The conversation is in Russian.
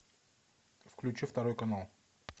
включи второй канал